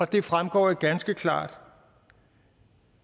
det fremgår ganske klart